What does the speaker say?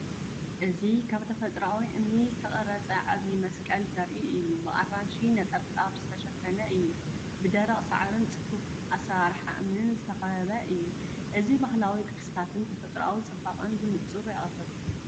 እዚ ካብ ተፈጥሮኣዊ እምኒ ዝተቐርጸ ዓቢ መስቀል ዘርኢ እዩ፣ ብኣራንሺ ነጠብጣብ ዝተሸፈነ እዩ። ብደረቕ ሳዕርን ጽፉፍ ኣሰራርሓ እምንን ዝተኸበበ እዩ። እዚ ባህላዊ ቅርስታትን ተፈጥሮኣዊ ጽባቐን ብንጹር የቕርብ።